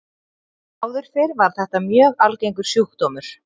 Áður fyrr var þetta mjög algengur sjúkdómur.